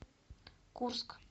курск